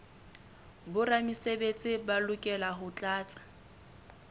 boramesebetsi ba lokela ho tlatsa